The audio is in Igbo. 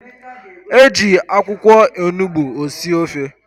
E ji akwụkwọ onugbu esi ofe.